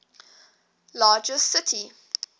largest city